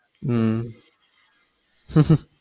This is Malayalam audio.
ഉം